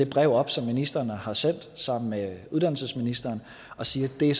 brev op som ministrene har sendt sammen med uddannelsesministeren og siger at det